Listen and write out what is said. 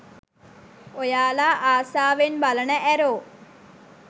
ඔයාලා ආසාවෙන් බලන ඇරෝ